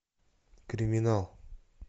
криминал